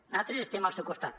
natres estem al seu costat